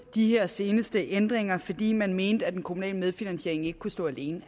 de her seneste ændringer fordi man mente at den kommunale medfinansiering ikke kunne stå alene